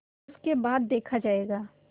उसके बाद देखा जायगा